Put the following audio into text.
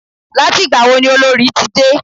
Láti ìgbà wo ni Olorì ti dé?